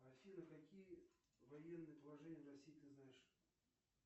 афина какие военные положения в россии ты знаешь